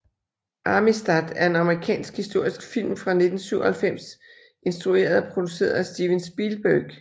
Amistad er en amerikansk historisk film fra 1997 instrueret og produceret af Steven Spielberg